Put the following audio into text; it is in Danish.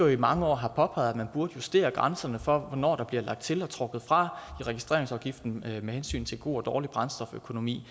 i mange år har påpeget man burde justere grænserne for hvornår der bliver lagt til og trukket fra i registreringsafgiften med hensyn til god og dårlig brændstoføkonomi